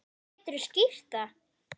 Geturðu skýrt það?